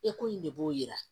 Eko in de b'o yira